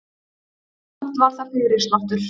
Og samt var það fyrirsláttur.